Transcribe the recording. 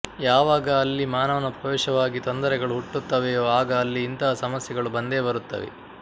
ಯಾವಾಗ ಅಲ್ಲಿ ಮಾನವನ ಪ್ರವೇಶವಾಗಿ ತೊಂದರೆಗಳು ಹುಟ್ಟುತ್ತವೆಯೋ ಆಗ ಅಲ್ಲಿ ಇಂತಹ ಸಮಸ್ಯೆಗಳು ಬಂದೇ ಬರುತ್ತವೆ